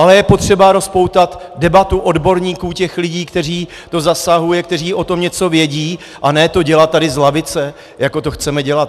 Ale je potřeba rozpoutat debatu odborníků, těch lidí, které to zasahuje, kteří o tom něco vědí, a ne to dělat tady z lavice, jako to chceme dělat.